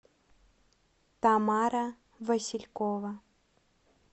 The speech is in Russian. тамара василькова